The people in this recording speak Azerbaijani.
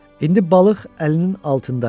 İndi balıq əlinin altındaydı.